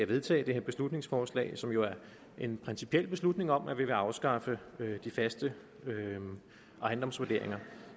vedtage det her beslutningsforslag som jo er en principiel beslutning om at vi vil afskaffe de faste ejendomsvurderinger